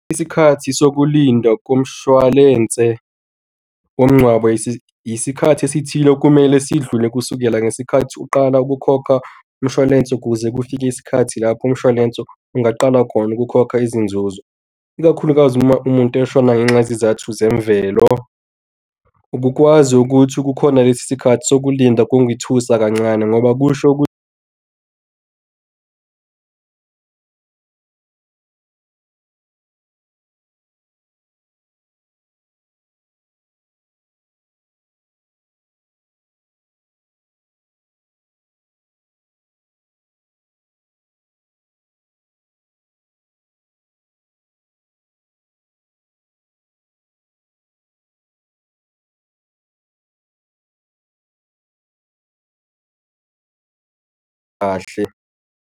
Isikhathi sokulinda komshwalense womngcwabo, isikhathi esithile okumele sidlule kusukela ngesikhathi uqala ukukhokha umshwalense ukuze kufike isikhathi lapho umshwalense ungaqala khona ukukhokha izinzuzo, ikakhulukazi uma umuntu eshona ngenxa yezizathu zemvelo. Ubukwazi ukuthi kukhona lesi sikhathi sokulinda kungithusa kancane ngoba kusho .